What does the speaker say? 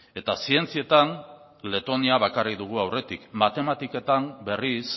eta zientzietan letonia bakarrik dugu aurretik matematiketan berriz